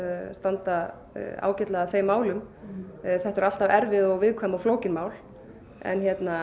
standa ágætlega að þeim málum þetta eru alltaf erfið viðkvæm og flókin mál en